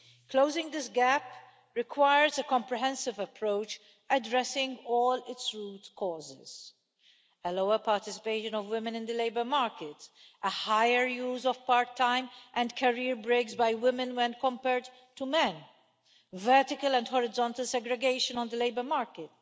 Closing this gap requires a comprehensive approach addressing all its root causes a lower participation of women in the labour market a higher use of part time and career breaks by women when compared to men vertical and horizontal segregation on the labour market